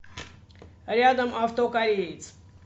рядом авто кореец